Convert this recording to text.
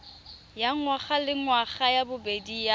ya ngwagalengwaga ya bobedi ya